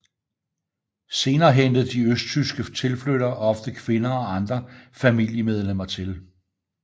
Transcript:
Senere hentede de østtyske tilflyttere ofte kvinder og andre familiemedlemmer til